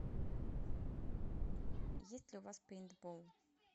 есть ли у вас пейнтбол